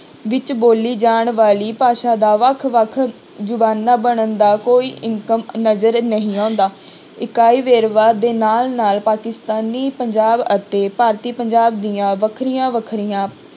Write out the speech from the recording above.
ਵਿੱਚ ਬੋਲੀ ਜਾਣ ਵਾਲੀ ਭਾਸ਼ਾ ਦਾ ਵੱਖ ਵੱਖ ਜ਼ੁਬਾਨਾਂ ਬਣਨ ਦਾ ਕੋਈ ਨਜ਼ਰ ਨਹੀਂ ਆਉਂਦਾ, ਇਕਾਈ ਵੇਰਵਾ ਦੇ ਨਾਲ ਨਾਲ ਪਾਕਿਸਤਾਨੀ ਪੰਜਾਬ ਅਤੇ ਭਾਰਤੀ ਪੰਜਾਬ ਦੀਆਂ ਵੱਖਰੀਆਂ ਵੱਖਰੀਆਂ